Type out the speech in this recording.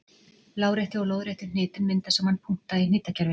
Láréttu og lóðréttu hnitin mynda saman punkta í hnitakerfinu.